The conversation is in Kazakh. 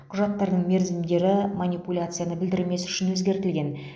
құжаттардың мерзімдері манипуляцияны білдірмес үшін өзгертілген